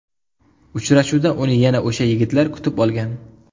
Uchrashuvda uni yana o‘sha yigitlar kutib olgan.